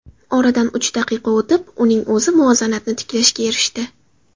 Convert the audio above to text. Oradan uch daqiqa o‘tib uning o‘zi muvozanatni tiklashga erishdi.